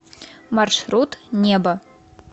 маршрут небо